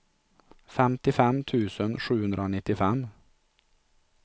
femtiofem tusen sjuhundranittiofem